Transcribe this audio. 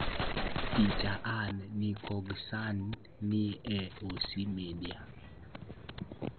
Picha: Anna Nikoghosyan ne OC Media.